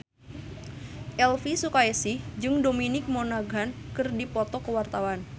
Elvy Sukaesih jeung Dominic Monaghan keur dipoto ku wartawan